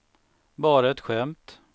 bara ett skämt